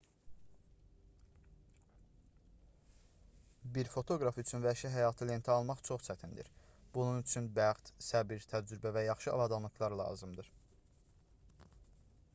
bir fotoqraf üçün vəhşi həyatı lentə almaq çox çətindir bunun üçün bəxt səbr təcrübə və yaxşı avadanlıqlar lazımdır